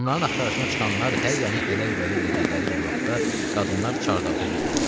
Onların axtarışına çıxanlar hər yanı ələk-vələk elədikləri bir vaxtda qadınlar çardaqda gizlənirlər.